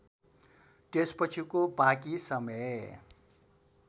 त्यसपछिको बाँकी समय